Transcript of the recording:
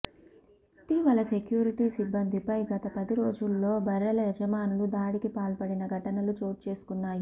ఇటీవల సెక్యూరిటీ సిబ్బందిపై గత పది రోజుల్లో బర్రెల యజమానులు దాడికి పాల్పడిన ఘటనలు చోటుచేసుకున్నాయి